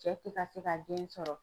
Cɛ tɛ ka se ka den sɔrɔ.